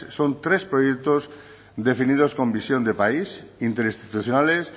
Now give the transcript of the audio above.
son tres proyectos definidos con visión de país interinstitucionales